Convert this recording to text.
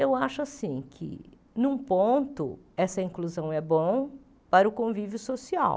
Eu acho assim que, num ponto, essa inclusão é bom para o convívio social.